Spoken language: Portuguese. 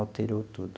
Alterou tudo.